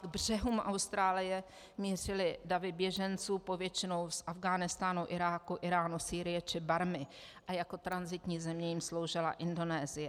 K břehům Austrálie mířily davy běženců, povětšinou z Afghánistánu, Iráku, Íránu, Sýrie či Barmy, a jako tranzitní země jim sloužila Indonésie.